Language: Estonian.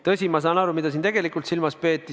Tõsi, ma saan aru, mida tegelikult silmas peeti.